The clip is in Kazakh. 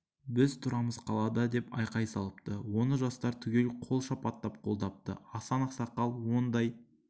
біз тұрамыз қалада деп айқай салыпты оны жастар түгел қол шапаттап қолдапты асан ақсақал ондай